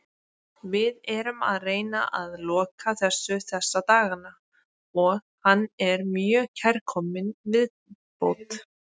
Við erum að reyna að loka þessu þessa dagana og hann er mjög kærkominn viðbót.